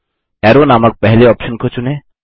अरो नामक पहले ऑप्शन को चुनें